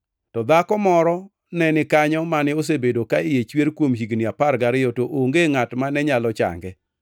To dhako moro ne ni kanyo mane osebedo ka iye chwer kuom higni apar gariyo to onge ngʼat mane nyalo change.